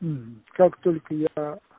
как только я